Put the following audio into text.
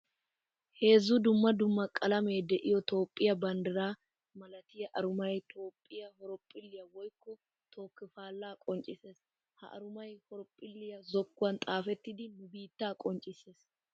Heezzu dumma dumma qalamme de'iyo toophphiya banddira milattiya arumay toophphiya horophphilliya woykko tooki pala qoncciseessi. Ha arumay horophphilliya zokkuwan xaafettiddi nu biitta qoncciseessi.